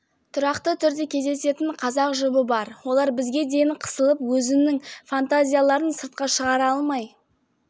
біз бұл істен пайда табуды жөн көрдік монетизацияландырып жарнама істейміз бізге көптеген компаниялар ұсыныс жасап үлгерді